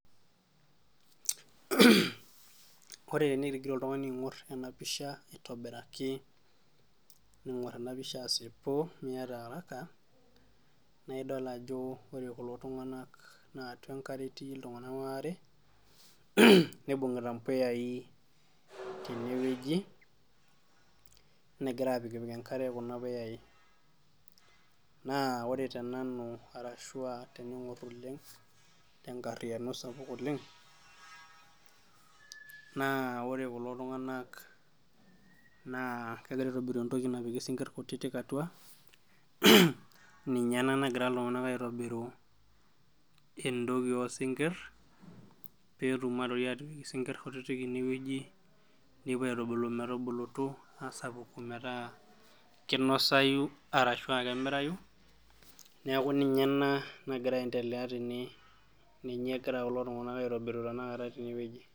ore enitigira oltungani aing'or ena pisha aitobiraki, ning'or ena pisha asipu miata araka, naa idol ajo ore kulo tunganak naa atua enkare etii iltunganak waare, nimbung'ita mpuyai tene wueji, negira aapikipik enkare kuna puyai.na ore tenanu arashu aa tening'or oleng tenkariyiano sapuk oleng. naa ore kulo tunganak naa kegira aitobiru entoki napiki sinkir kutitik atua, ninye ena nagira iltungank aitobiru entoki oosinkir, pee etum aitoki aatipk isinkir ine, wueji nipopuo aitubulu metubulutu aasapuku metaa kinosayu, araashu aa kemirayu, neku ninye ena nagira aendelea tene. ninye egira kulo tungank aitobiru tena kata tene wueji.